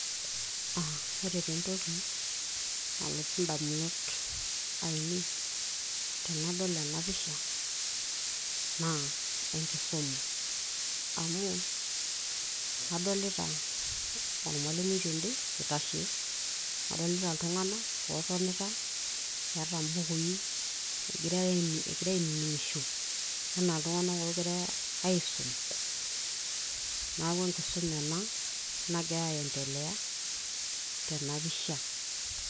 aa ore taa entoki nalotu indamunot ainei tenadol ena pisha naa enkisuma amu adolita ormalimui tende itashe adolita iltung'anak ootonita eeta imbukui egira ainining'isho enaa iltung'anak oogiray aisum neeku enkisuma ena nagira aendelea tena pishsa.